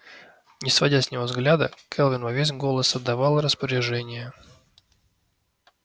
не сводя с него взгляда кэлвин во весь голос отдавала распоряжения